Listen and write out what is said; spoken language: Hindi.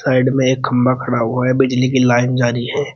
साइड में एक खंबा खड़ा हुआ है बिजली की लाइन जा रही है।